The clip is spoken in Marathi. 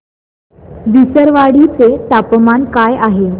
विसरवाडी चे तापमान काय आहे